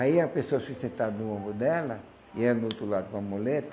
Aí a pessoa se sentava no ombro dela, e ia no outro lado com a muleta,